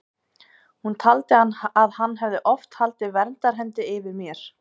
Hún taldi að hann hefði oft haldið verndarhendi yfir mér.